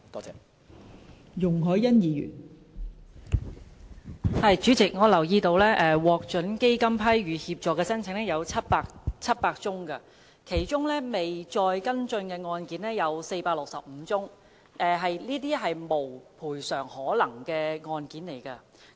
代理主席，我留意到獲基金批予協助的申請有700宗，而其中未再跟進的案件有465宗，屬"無賠償可能"的個案。